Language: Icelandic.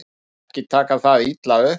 Ekki taka það illa upp.